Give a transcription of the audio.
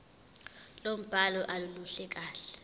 lombhalo aluluhle kahle